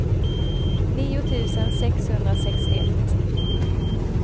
nio tusen sexhundrasextioett